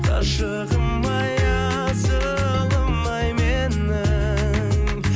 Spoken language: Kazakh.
ғашығым ай асылым ай менің